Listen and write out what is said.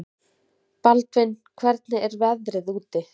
Baldvin, hvernig er veðrið úti?